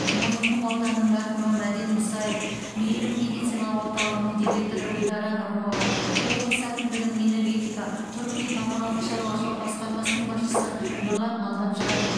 мойынқұм ауданының әкімі мәден мұсаев мейірім медициналық орталығының директоры гүлдара нұрымова облысы әкімдігінің энергетика тұрғын үй коммуналдық шаруашылық басқармасының басшысы нұрлан алдамжаров